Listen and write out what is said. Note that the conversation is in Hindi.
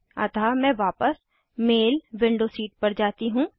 अतः मैं वापस मेल विंडो सीट पर जाती हूँ